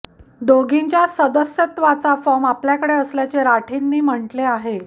दोघींच्या सदस्यत्वाचा फॉर्म आपल्याकडे असल्याचे राठींनी म्हटले आहे